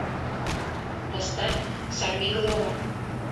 поставь сорвиголова